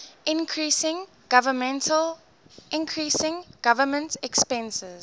increasing government expenses